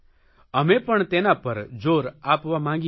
અમે પણ તેના પર જોર આપવા માગીએ છીએ